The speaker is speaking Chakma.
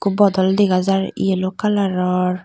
bodol dega jar yellow kalaror.